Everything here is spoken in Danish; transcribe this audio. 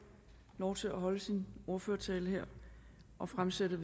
lov til at holde sin ordførertale her og fremsætte